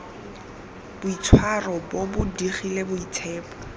boitshwaro bo bo digile boitshepo